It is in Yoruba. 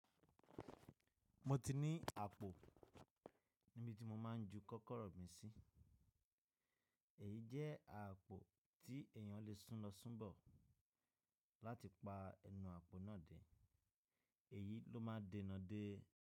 Mo ti ní àpò níbi tí mo máa ń ju kọ́kọ́rọ́ mi sí. Èyí jẹ́ àpò tí èèyàn lè sún lọ sún bọ̀ láti pa ẹnu àpò náà dé, èyí ló má ń dẹnà dé.